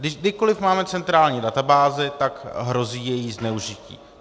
Kdykoli máme centrální databázi, tak hrozí její zneužití.